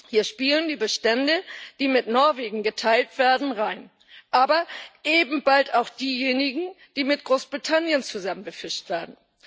Hier spielen die Bestände herein, die mit Norwegen geteilt werden, aber eben bald auch diejenigen, die mit Großbritannien zusammen befischt werden.